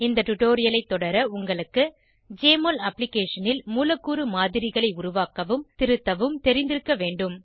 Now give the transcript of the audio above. இந்த டுடோரியலைத் தொடர உங்களுக்கு ஜெஎம்ஒஎல் அப்ளிகேஷனில் மூலக்கூறு மாதிரிகளை உருவாக்கவும் திருத்தவும் தெரிந்திருக்க வேண்டும்